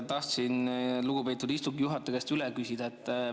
Tahtsin lugupeetud istungi juhataja käest üle küsida.